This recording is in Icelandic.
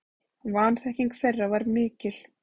Vanþekking þeirra var mikil.